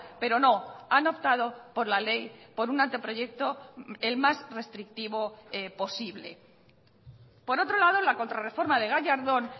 pero no han optado por la ley por una anteproyecto el más restrictivo posible por otro lado la contrarreforma de gallardón